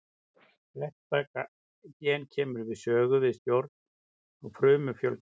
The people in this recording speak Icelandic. Þetta gen kemur við sögu við stjórn á frumufjölgun.